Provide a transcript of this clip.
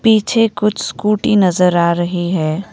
पीछे कुछ स्कूटी नजर आ रही है।